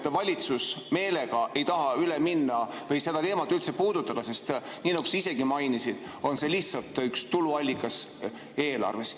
–, et valitsus meelega ei taha üle minna või seda teemat üldse puudutada, sest nii nagu sa isegi mainisid, on see lihtsalt üks tuluallikas eelarves.